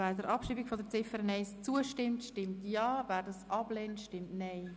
Wer der Abschreibung von Ziffer 1 zustimmt, stimmt Ja, wer dies ablehnt, stimmt Nein.